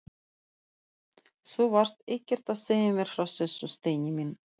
Þú varst ekkert að segja mér frá þessu, Steini minn!